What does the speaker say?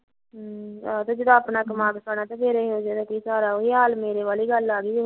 ਆਹੋ ਜਦ ਆਪਣਾ ਕਮਾਕੇ ਖਾਣਾ ਫਿਰ ਇਹੋ ਜਿਹੇ ਦਾ ਕੀ ਸਹਾਰਾ ਮੇਰੇ ਵਾਲੀ ਗੱਲ